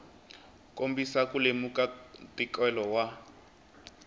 kombisa ku lemuka ntikelo wa